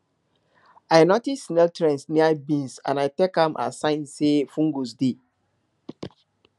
i notice snail trails near beans and i take am as sign say fungus dey